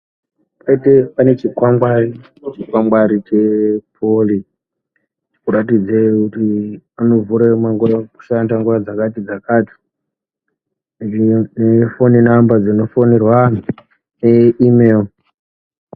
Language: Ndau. Pakaite, pane chikwangwari chekuratidza kuti anovhura, kushanda nguwa dzakati-dzakati nefoni namba dzinofonerwa antu neimero.